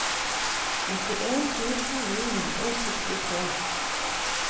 nittien tusen ni hundre og syttitre